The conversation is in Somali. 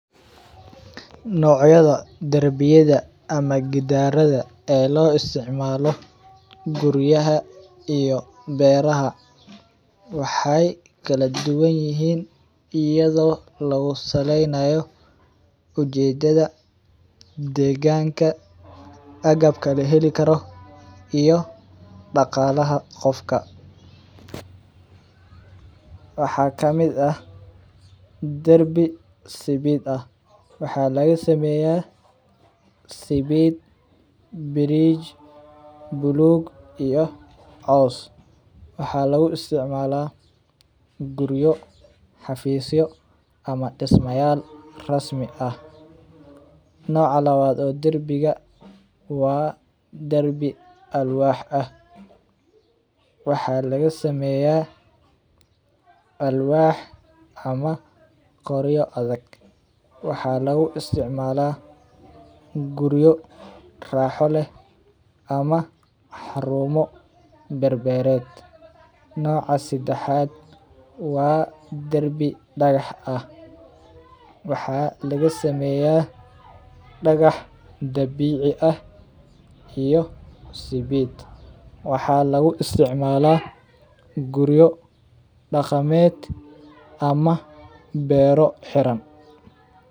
Nocyaada darbiyaada ama gidaraadha lo isticmalo guriyaha iyo beeraha waxee kala duwan yihin iyado lagu saleynayo ujeedadha deganka agabka laheli karo iyo daqalaha agabka, waxaa darbi waxaa laga sameya Bridge waxaa lagu isticmala guriyo xafisyo iyo dismayal rasmi ah noca lawad oo darbiga waa darbi alwax ah waxaa laga sameya alwax ama qoryo adhag, waxaa lagu isticmala raxo leh xarumo, noca sadaxaad waa dagax ah waxaa laga sameya dagax dabici ah iyo ismid waxaa lagu isticmala guriyo daqameed ama beero xiran.